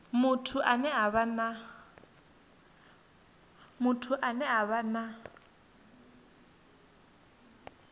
muthu ane a vha na